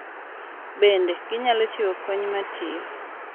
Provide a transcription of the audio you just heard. Bende, ginyalo chiwo kony ma tiyo,